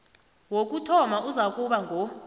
wokuthoma uzakuba ngo